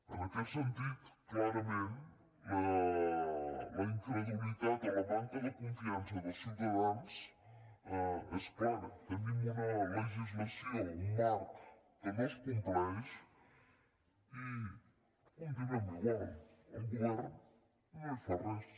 en aquest sentit clarament la incredulitat o la manca de confiança dels ciutadans és clara tenim una legislació un marc que no es compleix i continuem igual el govern no hi fa res